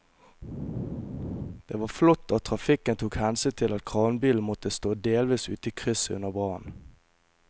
Det var flott at trafikken tok hensyn til at kranbilen måtte stå delvis ute i krysset under brannen.